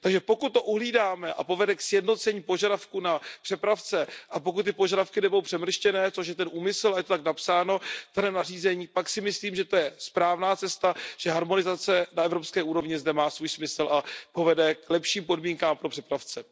Pokud to uhlídáme a povede to ke sjednocení požadavků na přepravce a pokud ty požadavky nebudou přemrštěné, což je ten úmysl a je to tak napsáno v daném nařízení, pak si myslím, že to je správná cesta, že harmonizace na evropské úrovni zde má svůj smysl a povede k lepším podmínkám pro přepravce.